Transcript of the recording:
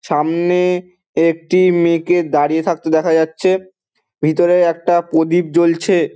সামনে -এ একটি মেয়েকে দাঁড়িয়ে থাকতে দেখা যাচ্ছে ভিতরে একটা প্রদীপ জ্বলছে।